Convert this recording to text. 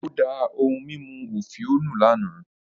Ó da ohun mímu òfìò nù lánàá